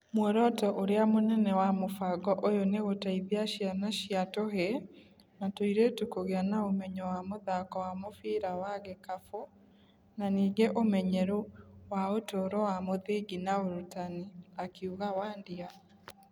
Mworoto ũrĩa mũnene wa mũbango ũyũ nĩ gũteithia ciana cia tũĩĩi na tũirĩtũ kũgĩa na ũmenyo wa mũthako wa mũbira wa gikabũ na ningĩ ũmenyeru wa utũũro wa mũthingi na urũtani,' akiuga Wandia.